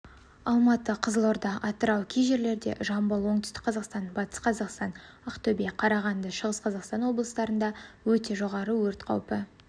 алматы кызылорда атырау кей жерлерде жамбыл оңтүстік-қазақстан батыс-қазақстан ақтөбе қарағанды шығыс-қазақстан облыстарында өте жоғары өрт қаупі